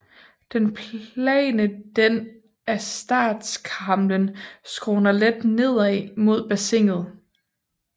Den plane den af startskamlen skråner let nedad mod bassinet